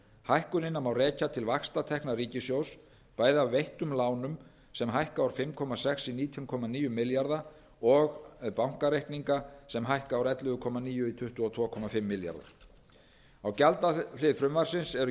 hækkunina má rekja til vaxtatekna ríkissjóðs bæði af veittum lánum sem hækka úr fimm komma sex í nítján komma níu milljarða og bankareikningum sem hækka úr ellefu komma níu í tuttugu og tvö komma fimm milljarða á gjaldahlið frumvarpsins eru